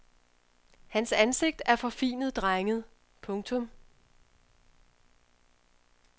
Hans ansigt er forfinet drenget. punktum